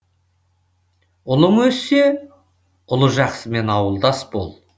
ұлың өссе ұлы жақсымен ауылдас бол